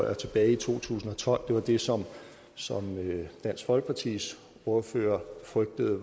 var tilbage i to tusind og tolv det var det som som dansk folkepartis ordfører frygtede